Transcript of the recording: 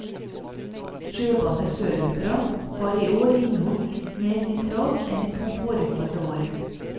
Sjøvannet sørfra har i år inneholdt litt mer nitrat enn de to foregående år.